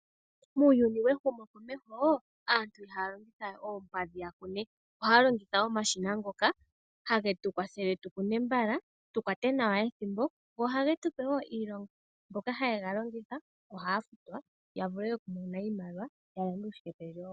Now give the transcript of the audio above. Muuyuni we humokomeho aantu ihaa longithawe oompadhi ya kune. Ohaa longitha omashina ngoka hage tukwathele tu kune mbala, tu kwate nawa ethimbo go oha ge tupe woo iilonga .Mboka ha yega longitha, ohaa futwa ya vule oku mona iimaliwa yalande uushike pendjewo wawo.